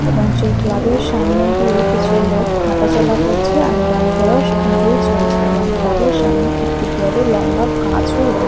এবং সেই ক্লাব এর সামনে দিয়ে কিছু লোক হাঁটাচলা করছে আর গাড়িঘোড়াও সেখান দিয়ে চলছে এবং ক্লাবের সামনে একটি বড় লম্বা গাছ ও রয়ে--